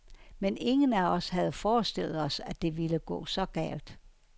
Men ingen af os havde forestillet os, at det ville gå så galt.